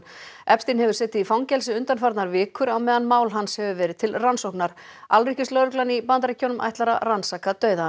epstein hefur setið í fangelsi undanfarnar vikur á meðan mál hans hefur verið til rannsóknar alríkislögreglan í Bandaríkjunum ætlar að rannsaka dauða